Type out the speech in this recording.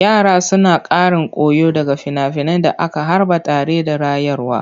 Yara suna ƙarin koyo daga finafinan da aka harba tare da rayarwa.